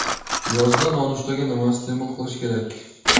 Yozda nonushtaga nima iste’mol qilish kerak?